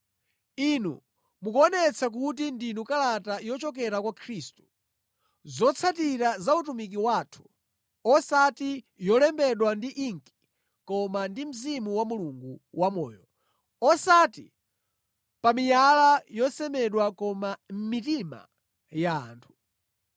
Inu mukuonetsa kuti ndinu kalata yochokera kwa Khristu, zotsatira za utumiki wathu, osati yolembedwa ndi inki koma ndi Mzimu wa Mulungu wamoyo, osati pa miyala yosemedwa koma mʼmitima ya anthu.